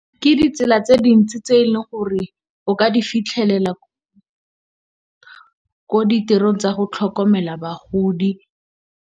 Ke di tsela tse dintsi tse e leng gore o ka di fitlhelela ko ditirong tsa go tlhokomela bagodi.